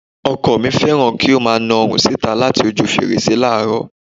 Ọkọ mi fẹ́ràn kí ó máa na ọrùn síta láti ojú fèrèsé láààrọ̀